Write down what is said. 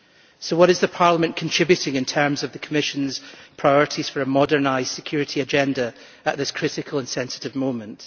So what is Parliament contributing in terms of the Commission's priorities for a modernised security agenda at this critical and sensitive moment?